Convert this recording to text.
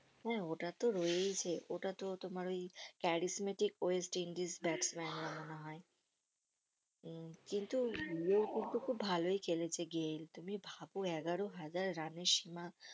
হম ওটাতো রয়েছে ওটাতো তোমার ওই charismatic westindies batsman রা মনে হয় হম কিন্তু কিন্তু খুব ভালোই খেলেছে গেইল তুমি ভাব এগারো হাজার রানের সীমা